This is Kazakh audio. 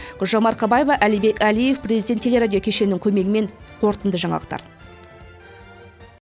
гүлжан марқабаева әлібек әлиев президенттік телерадио кешенінің көмегімен қорытынды жаңалықтар